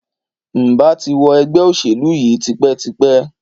Ǹ bà ti wo ègbé òṣèlú yi tipétipé